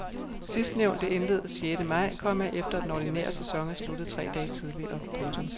Sidstnævnte indledes sjette maj, komma efter at den ordinære sæson er sluttet tre dage tidligere. punktum